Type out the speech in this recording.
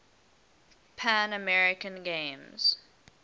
pan american games